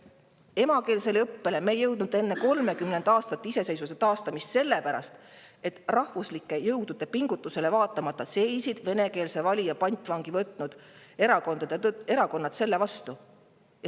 keelse õppeni ei jõudnud me enne 30 aasta möödumist iseseisvuse taastamisest, sest rahvuslike jõudude pingutustele vaatamata seisid venekeelse valija pantvangi võtnud erakonnad selle vastu.